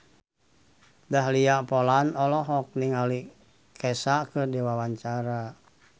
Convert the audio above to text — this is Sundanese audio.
Dahlia Poland olohok ningali Kesha keur diwawancara